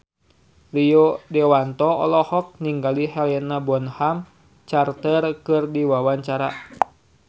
Rio Dewanto olohok ningali Helena Bonham Carter keur diwawancara